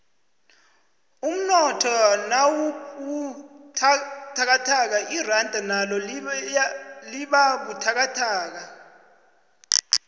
umnotho nawubuthakathaka iranda nalo libabuthakathaka